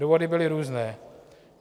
Důvody byly různé.